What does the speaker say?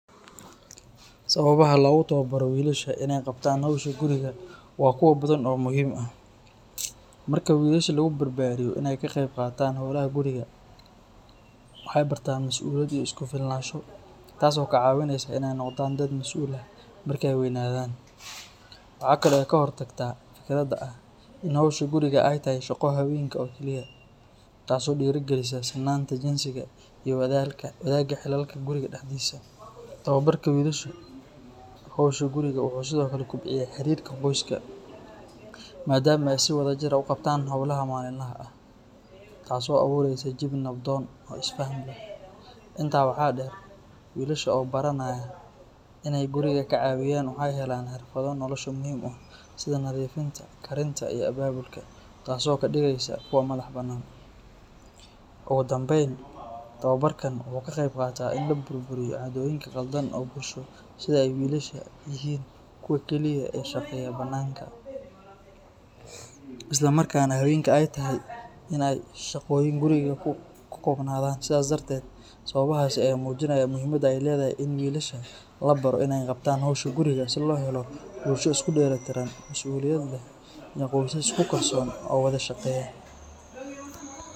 Sababaha loogu tababaro wiilasha in ay qabtaan howsha guriga waa kuwo badan oo muhiim ah. Marka wiilasha lagu barbaariyo in ay ka qayb qaataan hawlaha guriga, waxay bartaan masuuliyad iyo isku filnaansho taas oo ka caawinaysa in ay noqdaan dad masuul ah marka ay weynaadaan. Waxa kale oo ay ka hortagtaa fikradda ah in howsha guriga ay tahay shaqo haweenka oo keliya, taas oo dhiirrigelisa sinnaanta jinsiga iyo wadaagga xilalka guriga dhexdiisa. Tababarka wiilasha howsha guriga wuxuu sidoo kale kobciyaa xiriirka qoyska, maadaama ay si wadajir ah u qabtaan hawlaha maalinlaha ah, taas oo abuureysa jawi nabdoon oo isfaham leh. Intaa waxaa dheer, wiilasha oo baranaya in ay guriga ka caawiyaan waxay helayaan xirfado nolosha muhiim u ah, sida nadiifinta, karinta, iyo abaabulka, taas oo ka dhigaysa kuwo madax-bannaan. Ugu dambayn, tababarkan wuxuu ka qeyb qaataa in la burburiyo caadooyin qaldan oo bulsho sida in ay wiilasha yihiin kuwa keliya ee ka shaqeeya bannaanka, isla markaana haweenka ay tahay in ay shaqooyin guriga ku koobnaadaan. Sidaas darteed, sababahaasi ayaa muujinaya muhiimadda ay leedahay in wiilasha la baro in ay qabtaan hawsha guriga si loo helo bulsho isku dheelitiran, masuuliyad leh, iyo qoysas isku kalsoon oo wada shaqeeya.